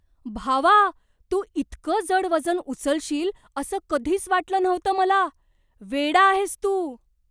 भावा! तू इतकं जड वजन उचलशील असं कधीच वाटलं नव्हतं मला, वेडा आहेस तू!